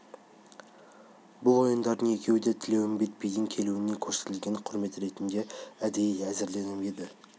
бұл ойындардың екеуі де тілеуімбет бидің келуіне көрсетілген құрмет ретінде әдейі әзірленіп еді